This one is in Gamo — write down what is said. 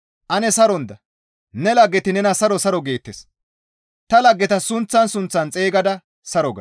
Ane saron da; ne laggeti nena saro saro geettes; ta laggeta sunththan sunththan xeygada saro ga.